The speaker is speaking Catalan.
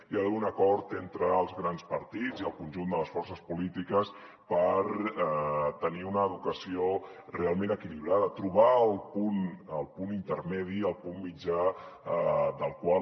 hi ha d’haver un acord entre els grans partits i el conjunt de les forces polítiques per tenir una educació realment equilibrada trobar el punt intermedi el punt mitjà del qual